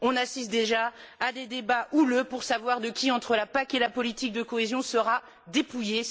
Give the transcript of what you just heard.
On assiste déjà à des débats houleux pour savoir qui, de la PAC et de la politique de cohésion, sera dépouillée.